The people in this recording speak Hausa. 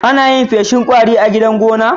Anayin feshin kwari a gidan gona?